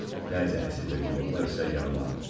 Bəzi əsir və girovlar isə yaralanıb.